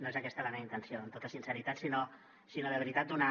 no és aquesta la meva intenció amb tota sinceritat sinó de veritat donar